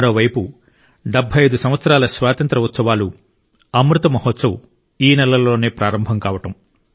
మరోవైపు 75 సంవత్సరాల స్వాతంత్ర్య ఉత్సవాలు అమృత్ మహోత్సవ్ ఈ నెలలోనే ప్రారంభం కావడం